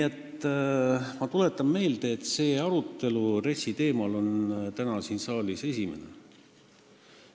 Ma tuletan meelde, et see arutelu RES-i teemal on täna siin saalis esimene.